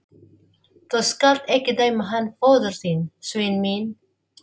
Þú skalt ekki dæma hann föður þinn, Sveinn minn.